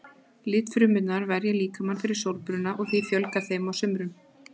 Litfrumurnar verja líkamann fyrir sólbruna og því fjölgar þeim á sumrum.